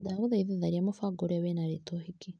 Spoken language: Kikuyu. Ndagũthaitha tharia mũbango ũrĩa wĩna rĩtwa ũhiki .